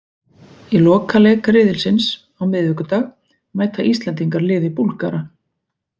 Í lokaleik riðilsins á miðvikudag mæta Íslendingar liði Búlgara.